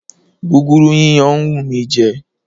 Gúgúrú yíyan ń wù mí jẹ.